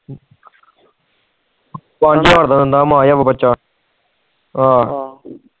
ਪੰਜ ਹਾਜ਼ਰ ਦਾ ਦਿੰਦਾ